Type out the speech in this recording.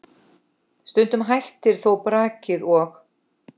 Stundum hættir þó brakið og